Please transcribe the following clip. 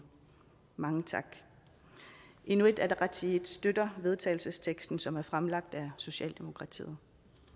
mange tak inuit ataqatigiit støtter vedtagelsesteksten som er fremsat af socialdemokratiet